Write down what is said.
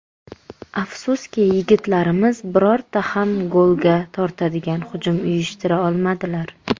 Afsuski, yigitlarimiz birorta ham golga tortadigan hujum uyushtira olmadilar.